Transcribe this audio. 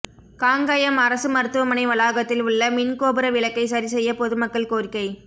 காங்கயம் அரசு மருத்துவமனை வளாகத்தில் உள்ள மின்கோபுர விளக்கை சரிசெய்ய பொதுமக்கள் கோரிக்கை